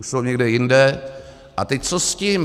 Už jsou někde jinde - a teď, co s tím.